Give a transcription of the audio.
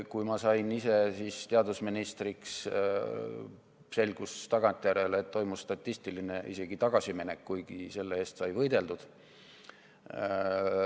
Kui ma ise sain teadusministriks, selgus tagantjärele, et toimus isegi statistiline tagasiminek, kuigi selle vastu sai võideldud.